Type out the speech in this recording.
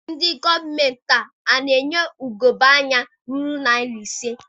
Ndị gọọmenti a na-enye ugebe anya ruru narị ise?